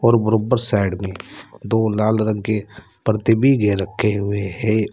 और बराबर साइड में दो लाल रंग के पर्दे भी आगे रखे हुए है।